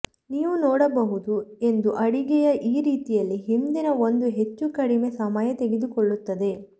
ನೀವು ನೋಡಬಹುದು ಎಂದು ಅಡುಗೆಯ ಈ ರೀತಿಯಲ್ಲಿ ಹಿಂದಿನ ಒಂದು ಹೆಚ್ಚು ಕಡಿಮೆ ಸಮಯ ತೆಗೆದುಕೊಳ್ಳುತ್ತದೆ